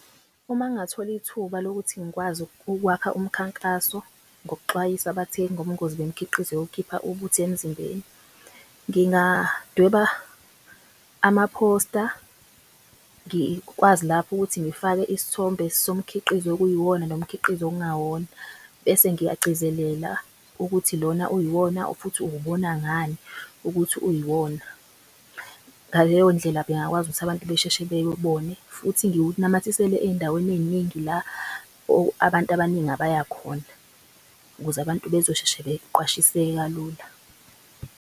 Uma ngathola ithuba lokuthi ngikwazi ukwakha umkhankaso, ngokuxwayisa abathengi ngobungozi bemkhiqizo yokukhipha ubuthi emzimbeni. Ngigadweba amaphosta, ngikwazi lapho ukuthi ngifake isthombe somkhiqizo okuyiwona nomkhiqizo okungawona. Bese ngiyagcizelela ukuthi lona uyiwona futhi uwubona ngani ukuthi uyiwona. Ngaleyo ndlela bengakwazi ukuthi abantu besheshe bewubone. Futhi ukuthi ngiwunamathisele ey'ndaweni ey'ningi la abantu abaningi abaya khona ukuze abantu bezosheshe beqwashiseke kalula.